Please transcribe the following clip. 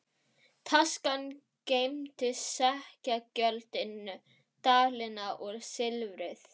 Taskan geymdi sekkjagjöldin, dalina og silfrið.